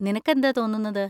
നിനക്കെന്താ തോന്നുന്നത്?